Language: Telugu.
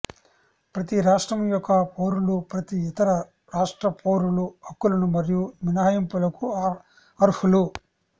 ప్రతి రాష్ట్రం యొక్క పౌరులు ప్రతి ఇతర రాష్ట్ర పౌరుల హక్కులను మరియు మినహాయింపులకు అర్హులు